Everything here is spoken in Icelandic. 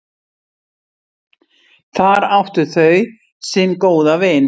Þar áttu þau sinn góða vin.